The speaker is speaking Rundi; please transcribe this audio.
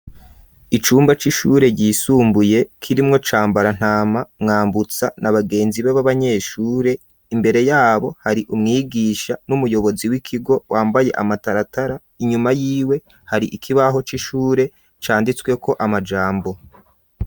Icumba c'ishure ryisumbuye k'irimwo cambarantama mwambutsa na bagenzi b'ab'abanyeshure imbere yabo hari umwigisha n'umuyobozi w'ikigo wambaye amataratara inyuma y'iwe hari ikibaho c'ishure canditsweko amajambo.